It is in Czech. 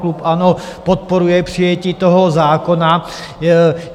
Klub ANO podporuje přijetí toho zákona.